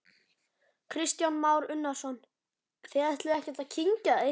Kristján Már Unnarsson: Þið ætlið ekkert að kyngja því?